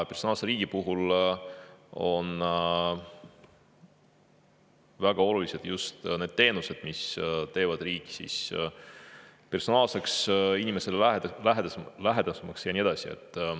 Personaalse riigi puhul on väga olulised just need teenused, mis teevad riigi personaalseks, inimesele lähedasemaks ja nii edasi.